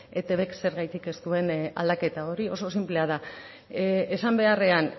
eitbk zergatik ez duen aldaketa hori oso sinplea da esan beharrean